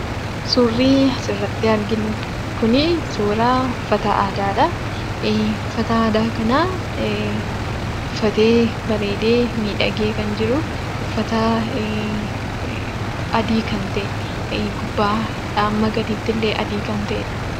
Suurri asirratti arginu kuni suuraa uffata aadaadha. Uffata aadaa kana uffatee, bareedee, miidhagee kan jiru, uffata adii kan ta'e, gubbaa hamma gadiittillee adii kan ta'edha.